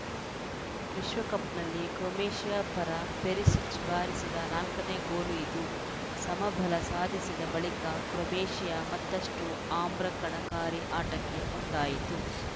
ವಿಶ್ವಕಪ್‌ನಲ್ಲಿ ಕ್ರೊವೇಷಿಯಾ ಪರ ಪೆರಿಸಿಚ್‌ ಬಾರಿಸಿದ ನಾಲ್ಕ ನೇ ಗೋಲು ಇದು ಸಮಬಲ ಸಾಧಿಸಿದ ಬಳಿಕ ಕ್ರೊವೇಷಿಯಾ ಮತ್ತಷ್ಟುಆಮ್ರಕಣಕಾರಿ ಆಟಕ್ಕೆ ಮುಂದಾಯಿತು